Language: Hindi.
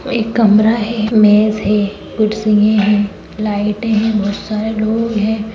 एक कमरा है मेज़ है कुर्सियां हैं लाइट है बहोत सारे लोग हैं ।